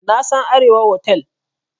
Na san Arewa otal.